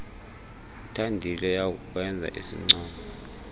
uthandile uyawukwenza isincomo